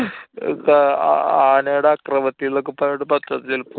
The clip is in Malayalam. കാ~ ആനേടെ അക്രമത്തില്‍ ന്നൊക്കെ പറഞ്ഞിട്ട് പത്രത്തില്‍ ചെലപ്പോ